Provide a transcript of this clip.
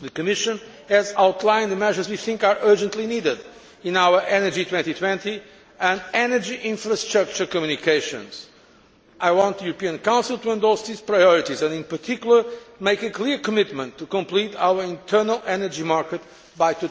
The Commission has outlined the measures we think are urgently needed in our Energy 2020 and energy infrastructure communications. I want the European Council to endorse these priorities and, in particular, make a clear commitment to completing our internal energy market by